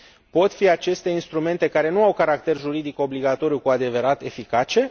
Pot fi aceste instrumente care nu au caracter juridic obligatoriu cu adevărat eficace?